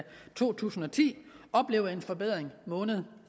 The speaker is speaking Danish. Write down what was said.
to tusind og ti oplevet en forbedring måned